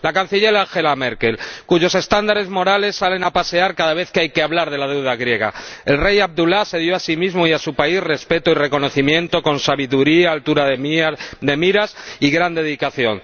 Según la Canciller Angela Merkel, cuyos estándares morales salen a pasear cada vez que hay que hablar de la deuda griega, el Rey Abdulá se dio a sí mismo y a su país respeto y reconocimiento con sabiduría, altura de miras y gran dedicación